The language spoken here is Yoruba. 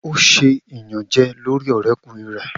O ṣe iyanjẹ lori ọrẹkunrin rẹ.